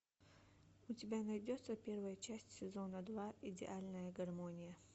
у тебя найдется первая часть сезона два идеальная гармония